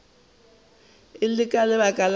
e le ka lebaka la